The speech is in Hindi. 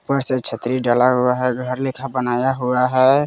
ऊपर से छतरी डाला हुआ है घर लेखा बनाया हुआ है।